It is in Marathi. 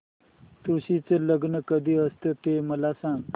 तुळशी चे लग्न कधी असते ते मला सांग